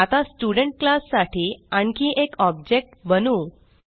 आता student class साठी आणखी एक ऑब्जेक्ट बनवू